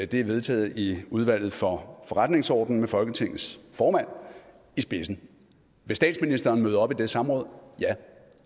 det er vedtaget i udvalget for forretningsordenen med folketingets formand i spidsen vil statsministeren møde op til det samråd ja